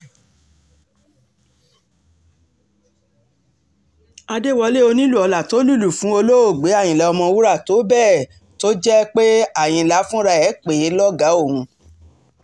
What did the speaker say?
àdẹ́wọ́lẹ̀ onílù-ọlá tó lùlù fún olóògbé àyínlá ọ̀mọ̀wúrà tó bẹ́ẹ̀ tó jẹ́ àyìnlá fúnra ẹ̀ pè é lọ́gàá òun